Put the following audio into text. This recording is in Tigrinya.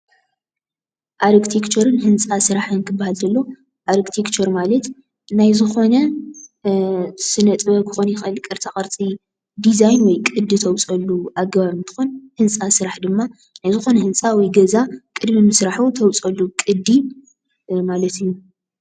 ኣርክቴክቸርን ህንፃ ስራሕን ክበሃል እንተሎ ኣርክቴክቸር ማለት ናይ ዝኾነ ስነ ጥበብ ክኸውን ይኽእል ቅርፃ ቕርፂ፣ ዲዛይን ወይ ቅዲ ተውፅአሉ ኣገባብ እንትኾን ህንፃ ስራሕ ድማ ናይ ዝኾነ ህንፃ ወይ ገዛ ቅድሚ ምስርሑ ተውፀሉ ቅዲ ማለት እዩ፡፡